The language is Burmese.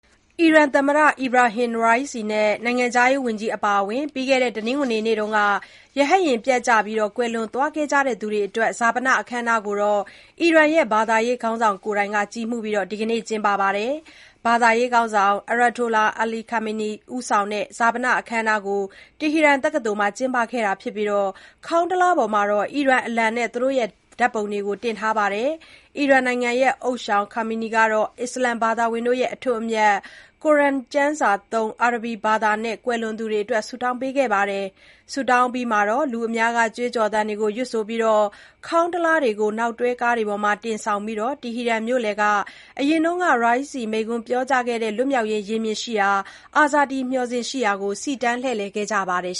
အီရန်သမ္မတ Ebrahim Raisi နဲ့ နိုင်ငံခြားရေး ဝန်ကြီးအပါအဝင် ပြီးခဲ့တဲ့ တနင်္ဂနွေနေ့က ရဟတ်ယာဉ်ပျက်ကျပြီး ကွယ်လွန်သွားခဲ့ကြတဲ့သူတွေအတွက် ဈာပန အခမ်းအနားကို အီရန်ရဲ့ ဘာသာရေးခေါင်းဆောင်ကိုယ်တိုင် ကြီးမှူးပြီး ဒီနေ့ကျင်းပခဲ့ပါတယ်။ ဘာသာရေးခေါင်းဆောင် Ayatollah Ali Khamenei (အယာတိုလာ အလီ ခါမေနီ) ဦးဆောင်တဲ့ ဈာပန အခမ်းအနားကို တီဟီရန်တက္ကသိုလ်မှာ ကျင်းပခဲ့ပြီး ခေါင်းတလားတွေပေါ်မှာ အီရန်အလံနဲ့ သူတို့ရဲ့ ဓာတ်ပုံတွေကို တင်ထားပါတယ်။ အီရန်နိုင်ငံ ဦးသျှောင် Khamenei ကတော့ အစ္စလာမ်ဘာသာဝင်တွေရဲ့ အထွတ်အမြတ် ကုရ်အာန်ကျမ်းစာသုံး အာရဗီဘာသာနဲ့ ကွယ်လွန်သူတွေအတွက် ဆုတောင်းခဲ့ပါတယ်။ ဆုတောင်းအပြီးမှာတော့ လူအများက ကြွေးကြော်သံတွေကို ရွတ်ဆိုပြီး ခေါင်းတလားတွေကို နောက်တွဲကားတွေပေါ်တင်ဆောင်ပြီး တီဟီရန်မြို့လယ်ကနေ ယခင်က Raisi မိန့်ခွန်းပြောကြားခဲ့တဲ့ လွတ်မြောက်ရေး ရင်ပြင်ရှိရာ Azadi မျှော်စင်ရှိရာသို့ စီတန်းလှည့်လည် ခဲ့ကြပါတယ်